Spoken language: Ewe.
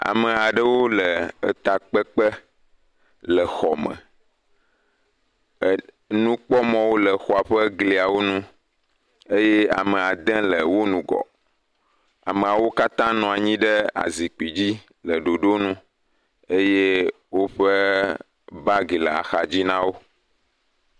Ame aɖewo le etakpekpe le xɔ me, nukpɔmɔwo le exɔa ƒe gliawo nu eye amea ɖe le wo ŋgɔ, ameawo katã nɔ anyi ɖe azikpui dzi le ɖoɖonu eye woƒe bagi le axadzi na wo.